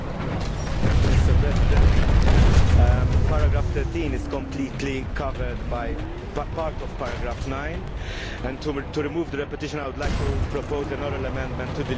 Mr President, paragraph 13 is completely covered by part of paragraph 9, and to remove the repetition I would like to propose an oral amendment to delete paragraph